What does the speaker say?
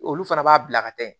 Olu fana b'a bila ka taa yen